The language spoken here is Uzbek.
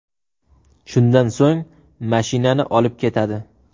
Shundan so‘ng mashinani olib ketadi.